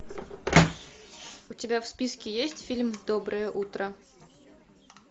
у тебя в списке есть фильм доброе утро